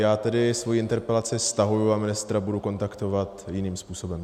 Já tedy svoji interpelaci stahuji a ministra budu kontaktovat jiným způsobem.